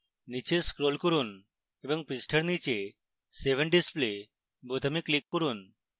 নীচে scroll করুন এবং পৃষ্ঠার নীচে save and display বোতামে click করুন